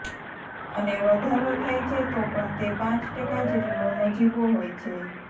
અને વધારો થાય છે તો પણ તે પાંચ ટકા જેટલો નજીવો હોય છે